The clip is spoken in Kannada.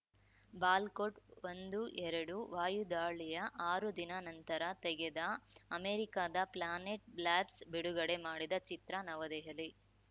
ಬಾಲ್ ಕೋಟ್‌ಒಂದು ಎರಡು ವಾಯುದಾಳಿಯ ಆರು ದಿನ ನಂತರ ತೆಗೆದ ಅಮೆರಿಕದ ಪ್ಲಾನೆಟ್‌ ಲ್ಯಾಬ್ಸ್‌ ಬಿಡುಗಡೆ ಮಾಡಿದ ಚಿತ್ರ ನವದೆಹಲಿ